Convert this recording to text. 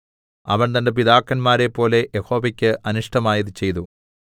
അവൻ തന്റെ പിതാക്കന്മാരേപ്പോലെ യഹോവയ്ക്ക് അനിഷ്ടമായത് ചെയ്തു